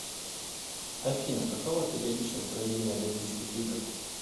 афина какова периодичность проведения олимпийских игр